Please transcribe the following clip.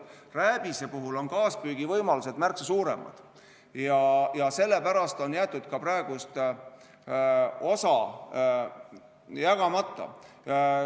Rääbise puhul on kaaspüügi võimalused märksa suuremad ja selle pärast on jäetud ka praegu osa jagamata.